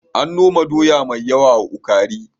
An noma doya mai yawa a Ukari.